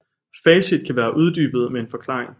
Facit kan være uddybet med en forklaring